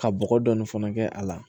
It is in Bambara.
Ka bɔgɔ dɔɔnin fana kɛ a la